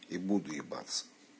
и буду ебаться